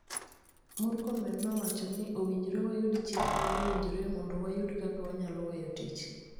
Murkomen nowacho ni owinjore wayudi chik ma owinjore mondo wayudi kaka wanyalo weyo tich.